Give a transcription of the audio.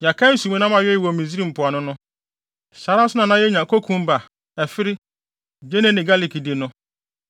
Yɛkae nsumnam a yɛwee wɔ Misraim mpoano no. Saa ara nso na na yenya kokumba, ɛfere, gyeene ne galik di no.